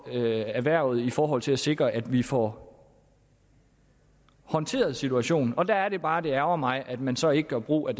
erhvervet i forhold til at sikre at vi får håndteret situationen men der er det bare at det ærgrer mig at man så ikke gør brug af